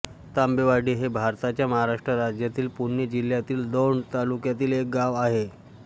तांबेवाडी हे भारताच्या महाराष्ट्र राज्यातील पुणे जिल्ह्यातील दौंड तालुक्यातील एक गाव आहे